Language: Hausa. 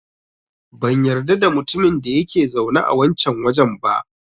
Ban yarda da mutumin da yake zaune a wancan wajen ba.